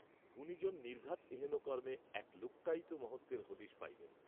গুণিজন নির্ঘাত এহেন কর্মে এক লুক্কায়িত মহত্ত্বের হদিশ পাইবেন